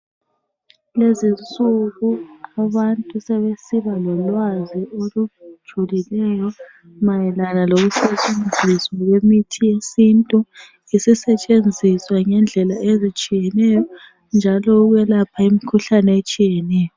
Kulezinsuku abantu sebesiba lolwazi olujulileyo mayelana lokusetshenziswa kwemithi yesintu. Isisetshenziswa ngendlela ezitshiyeneyo njalo ukuyelapha imikhuhlane etshiyeneyo.